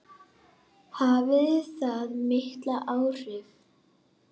Hafði það mikil áhrif?